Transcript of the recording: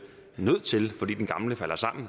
nødt til fordi den gamle falder sammen